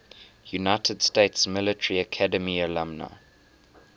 united states military academy alumni